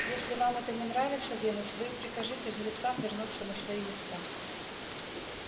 если вам это не нравится венус вы и прикажите жрецам вернуться на свои места